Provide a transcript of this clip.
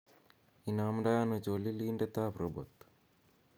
inomdoi ano cholilindet ab robot